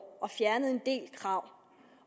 og fjernede en del krav